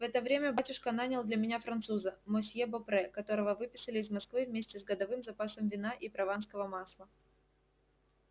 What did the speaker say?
в это время батюшка нанял для меня француза мосье бопре которого выписали из москвы вместе с годовым запасом вина и прованского масла